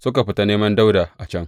Suka fita neman Dawuda a can.